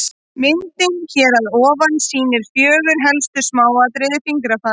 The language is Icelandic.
Myndin hér fyrir ofan sýnir fjögur helstu smáatriði fingrafara.